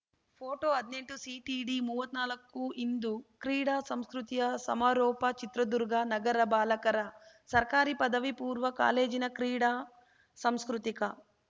photo ಹದ್ನೆಂಟುಸಿಟಿಡಿಮುವತ್ನಾಲ್ಕು ಇಂದು ಕ್ರೀಡಾ ಸಾಂಸ್ಕೃತಿಯ ಸಮಾರೋಪ ಚಿತ್ರದುರ್ಗ ನಗರ ಬಾಲಕರ ಸರ್ಕಾರಿ ಪದವಿಪೂರ್ವ ಕಾಲೇಜಿನ ಕ್ರೀಡಾ ಸಾಂಸ್ಕೃತಿಕ